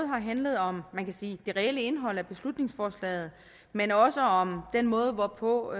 har handlet om man kan sige det reelle indhold af beslutningsforslaget men også om den måde hvorpå